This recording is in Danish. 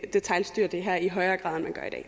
detailstyre det her i højere